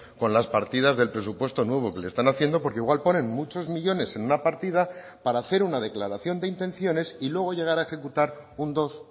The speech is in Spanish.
con las partidas del presupuesto nuevo que le están haciendo porque igual ponen muchos millónes en una partida para hacer una declaración de intenciones y luego llegar a ejecutar un dos